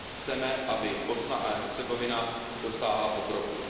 Chceme, aby Bosna a Hercegovina dosáhla pokroku.